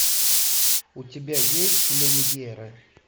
у тебя есть люмьеры